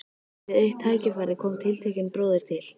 Við eitt tækifæri kom tiltekinn bróðir til